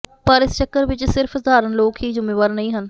ਪਰ ਇਸ ਚੱਕਰ ਵਿੱਚ ਸਿਰਫ ਸਧਾਰਨ ਲੋਕ ਹੀ ਜ਼ੁੰਮੇਵਾਰ ਨਹੀਂ ਹਨ